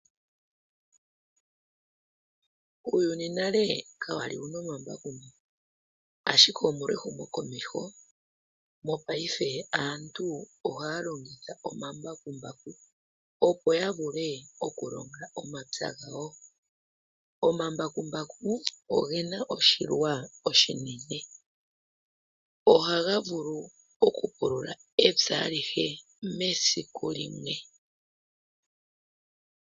Uuyuni nale kawali wuna omambakumbaku, asked omolwa ehumo komeho mopayife aantu ohaya longitha omambakumbaku, opo yavule okulonga omapya gawo. Omambakumbaku ogena oshilwa oshinene, ohaga vulu okupulula epya alihe mesiku limwe.